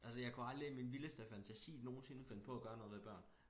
Altså jeg kunne aldrig i min vildeste fantasi nogensinde finde på at gøre noget ved børn